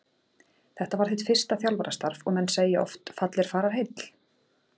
Þetta var þitt fyrsta þjálfarastarf og menn segja oft fall er fararheill?